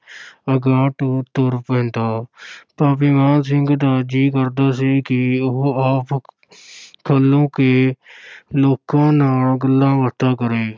ਅਗਾਂਹ ਨੂੰ ਤੁਰ ਪੈਂਦਾ ਭਾਵੇਂ ਮਾਨ ਸਿੰਘ ਦਾ ਜੀਅ ਕਰਦਾ ਸੀ ਕਿ ਉਹ ਆਪ ਖਲੋ ਕੇ ਲੋਕਾਂ ਨਾਲ ਗੱਲਾਂ-ਬਾਤਾਂ ਕਰੇ।